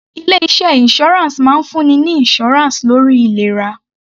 Ilé iṣẹ́ insurance máa ń fún ni ní insurance lórí ìlera.